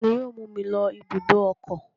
Ta ni yóò mú mi lọ ibùdó ọkọ̀?